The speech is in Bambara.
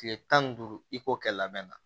Tile tan ni duuru i k'o kɛ labɛn na